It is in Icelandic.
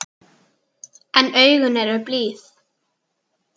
En augun eru blíð.